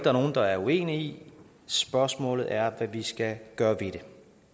er nogen der er uenige i spørgsmålet er hvad vi skal gøre ved det